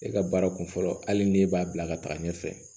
E ka baara kun fɔlɔ hali ni e b'a bila ka taga ɲɛfɛ